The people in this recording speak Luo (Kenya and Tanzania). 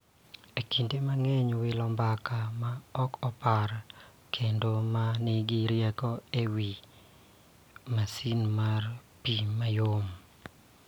Kinde mang'eny, wilo mbaka ma ok opar kendo ma nigi rieko e wi masin mar pi mayom.